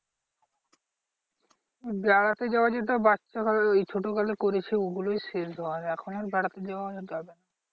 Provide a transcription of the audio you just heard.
বেড়াতে যাওয়া যেটা বাচ্চা বেলা ওই ছোট বেলায় করেছি ওগুলোই শেষ বার এখন আর বেড়াতে যাওয়া যাবে না।